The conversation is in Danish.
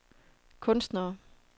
kunstnere